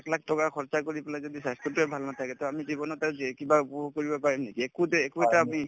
লাখ লাখ টকা খৰচা কৰি পেলাই যদি স্বাস্থ্যতোয়ে ভাল নাথাকে to আমি জীৱনত আৰু যে কিবা ক কৰিব পাৰিম নেকি একোতে একো এটা আমি